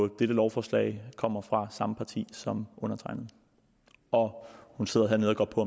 dette lovforslag kommer fra samme parti som undertegnede og hun sidder hernede og går på